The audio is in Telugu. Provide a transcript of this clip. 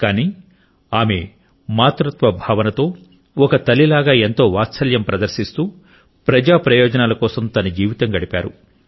కానీ ఆమె మాతృత్వ భావనతో ఒక తల్లిలాగా ఎంతో వాత్సల్యం ప్రదర్శిస్తూ ప్రజా ప్రయోజనాల కోసం తన జీవితం గడిపారు